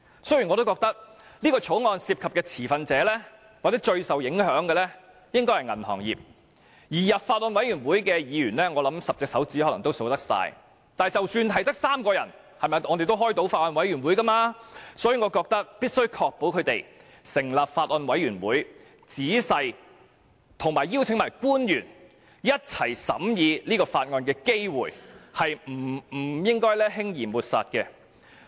雖然我認為《條例草案》涉及的持份者或最受影響者應該是銀行業，而加入法案委員會的議員，我想將寥寥可數，但即使只有3名委員，也可以召開法案委員會，所以，我認為必須確保能夠成立法案委員會，以及邀請官員共同仔細審議法案的機會，是不應該輕易抹煞此機會的。